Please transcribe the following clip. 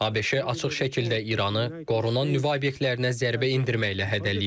ABŞ açıq şəkildə İranı qorunan nüvə obyektlərinə zərbə endirməklə hədələyib.